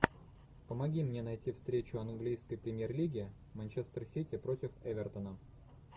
помоги мне найти встречу английской премьер лиги манчестер сити против эвертона